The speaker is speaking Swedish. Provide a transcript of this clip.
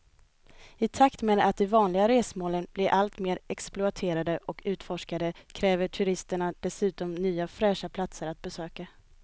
I takt med att de vanliga resmålen blir allt mer exploaterade och utforskade kräver turisterna dessutom nya fräscha platser att besöka.